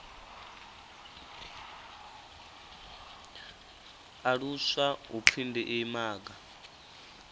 aluswa hu pfi ndi imaga